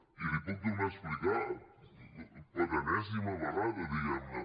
i l’hi puc tornar a explicar per enèsima vegada diguem ne